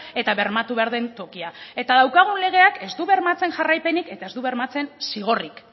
eta bermatu behar den tokia eta daukagun legeak ez du bermatzen jarraipenik eta ez du bermatzen zigorrik